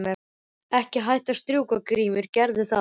Ekki hætta að strjúka Grímur gerðu það.